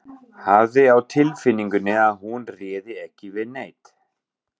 Hafði á tilfinningunni að hún réði ekki við neitt.